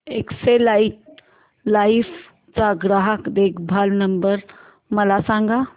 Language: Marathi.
एक्साइड लाइफ चा ग्राहक देखभाल नंबर मला सांगा